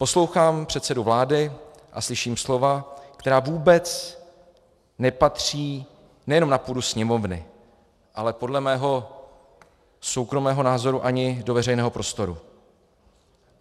Poslouchám předsedu vlády a slyším slova, která vůbec nepatří nejenom na půdu Sněmovny, ale podle mého soukromého názoru ani do veřejného prostoru.